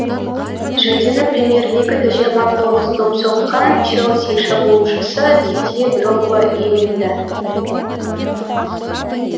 жүлдені премьер лигада жиырма тоғыз доп соққан челси шабуылшысы дидье дрогба иеленді